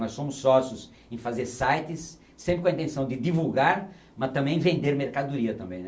Nós somos sócios em fazer sites, sempre com a intenção de divulgar, mas também vender mercadoria também, né.